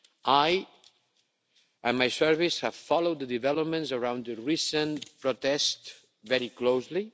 I and my service have followed the developments around the recent protests very closely.